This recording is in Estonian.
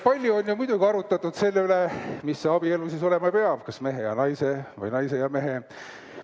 Palju on ju muidugi arutatud selle üle, mis see abielu siis olema peab: kas mehe ja naise või naise ja mehe vahel.